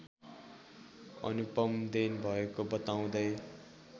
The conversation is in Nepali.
अनुपम देन भएको बताउँदै